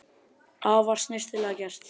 Afar snyrtilega gert